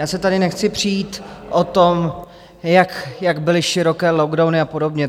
Já se tady nechci přijít o tom, jak byly široké lockdowny a podobně.